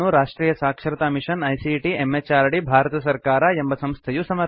ಈ ಪ್ರಕಲ್ಪವನ್ನು Rashtriya Saksharta mission ICT MHRD Bharat ಸರ್ಕಾರ ಎಂಬ ಸಂಸ್ಥೆಯು ಸಮರ್ಥಿಸಿದೆ